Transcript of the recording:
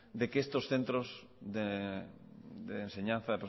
de que estos centros de enseñanza